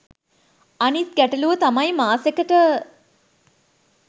අනිත් ගැටළුව තමයි මාසෙකට